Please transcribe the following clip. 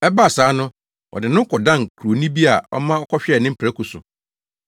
Ɛbaa saa no, ɔde ne ho kɔdan kuroni bi a ɔma ɔkɔhwɛɛ ne mprako so.